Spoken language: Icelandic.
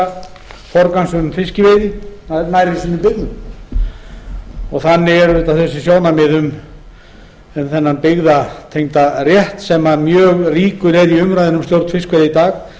allir tryggan rétt til forgangs um fiskveiða nær og þannig eru auðvitað þessi sjónarmið um þennan byggðatengda rétt sem mjög ríkur er í umræðunni um stjórn fiskveiða í